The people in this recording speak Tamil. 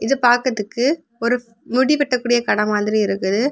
இத பாக்கறதுக்கு ஒரு முடி வெட்டக்கூடிய கட மாதிரி இருக்கு.